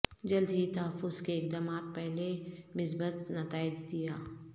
جلد ہی تحفظ کے اقدامات پہلے مثبت نتائج دیا